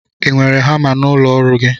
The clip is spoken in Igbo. Ị nwere hama n'ụlọ ọrụ gị?